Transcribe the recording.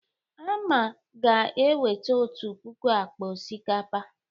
Ama ga-eweta otu puku akpa osikapa.